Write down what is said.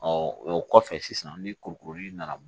o kɔfɛ sisan ni kuruli nana